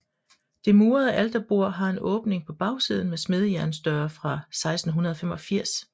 Det murede alterbord har en åbning på bagsiden med smedejernsdøre fra 1685